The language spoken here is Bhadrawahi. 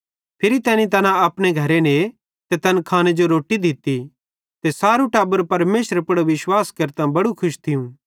फिरी तैनी तैना अपने घरे ने ते तैन खाने जो रोट्टी दित्ती ते सारे टब्बरे परमेशरे पुड़ विश्वास केरतां बड़े खुश थिये